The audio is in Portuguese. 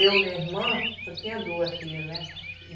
Eu, minha irmã, só tinha duas filhas, né?